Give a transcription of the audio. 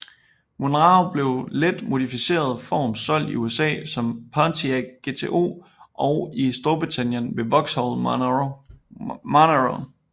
Monaro blev i let modificeret form solgt i USA som Pontiac GTO og i Storbritannien som Vauxhall Monaro